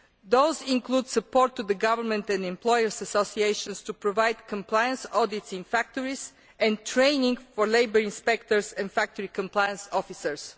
Those include support to the government and employers' associations to provide compliance audits in factories and training for labour inspectors and factory compliance officers.